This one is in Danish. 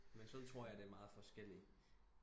Men sådan tror jeg der er meget forskelligt